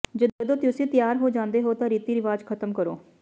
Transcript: ਜਦੋਂ ਤੁਸੀਂ ਤਿਆਰ ਹੋ ਜਾਂਦੇ ਹੋ ਤਾਂ ਰੀਤੀ ਰਿਵਾਜ ਖ਼ਤਮ ਕਰੋ